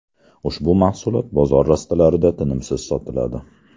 Ushbu mahsulot bozor rastalarida tinimsiz sotiladi.